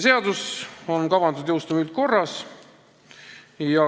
Seadus on kavandatud jõustuma üldkorras.